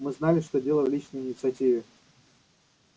мы знали что дело в личной инициативе